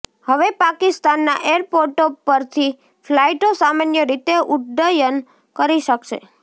હવે પાકિસ્તાનના એરપોર્ટો પરથી ફ્લાઈટો સામાન્ય રીતે ઉડ્ડયન કરી શકશે